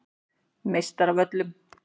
Meistaravöllum